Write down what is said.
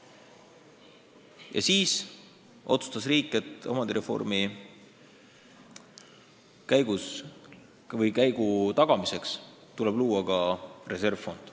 Ja siis otsustas riik, et omandireformi tagamiseks tuleb luua ka reservfond.